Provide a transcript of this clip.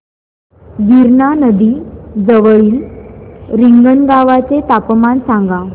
गिरणा नदी जवळील रिंगणगावाचे तापमान सांगा